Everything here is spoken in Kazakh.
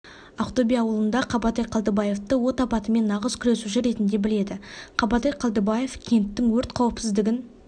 ақтөбе ауылында қабатай қалдыбаевты от апатымен нағыз күресуші ретінде біледі қабатай қалдыбаев кенттің өрт қауіпсіздігін